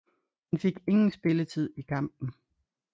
Han fik ingen spilletid i kampen